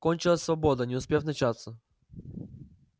кончилась свобода не успев начаться